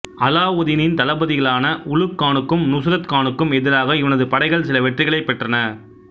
அலாவுதீனின் தளபதிகளான உலுக் கானுக்கும் நுஸ்ரத் கானுக்கும் எதிராக இவனது படைகள் சில வெற்றிகளைப் பெற்றன